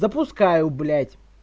запускаю блять